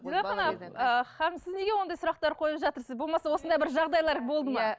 ы ханым сіз неге ондай сұрақтар қойып жатырсыз болмаса осындай бір жағдайлар болды ма иә